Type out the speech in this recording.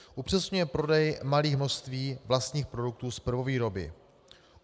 Upřesňuje prodej malých množství vlastních produktů z prvovýroby.